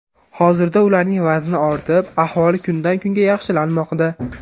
Hozirda ularning vazni ortib, ahvoli kundan kunga yaxshilanmoqda.